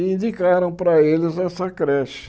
E indicaram para eles essa creche.